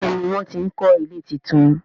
Béèni wón tí ń kò ilé títún.